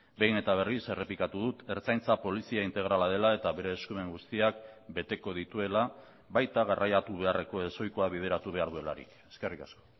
behin eta berriz errepikatu dut ertzaintza polizia integrala dela eta bere eskumen guztiak beteko dituela baita garraiatu beharreko ezohikoa bideratu behar duelarik eskerrik asko